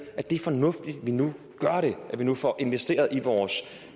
at det er fornuftigt at vi nu gør det at vi nu får investeret i vores